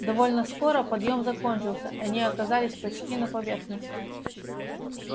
довольно скоро подъем закончился они оказались почти на поверхности